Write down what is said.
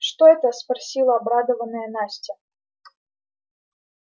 что это спросила обрадованная настя